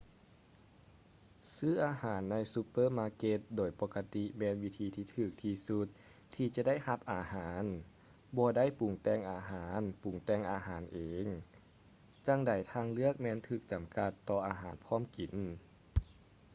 ຊື້ອາຫານໃນຊຸບເປີມາເກັດໂດຍປົກກະຕິແມ່ນວິທີທີ່ຖືກທີ່ສຸດທີ່ຈະໄດ້ຮັບອາຫານ ບໍ່ໄດ້ປຸງແຕ່ງອາຫານປຸງແຕ່ງອາຫານເອງ ຈັງໃດທາງເລືອກແມ່ນຖືກຈຳກັດຕໍ່ອາຫານພ້ອມກິນ